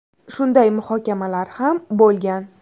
Shunday muhokamalar ham bo‘lgan.